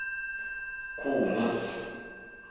kones